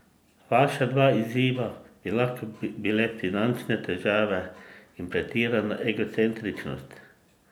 Vaša dva izziva bi lahko bile finančne težave in pretirana egocentričnost.